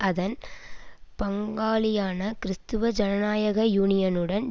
அதன் பங்காளியான கிறிஸ்தவ ஜனநாயக யூனியனுடன்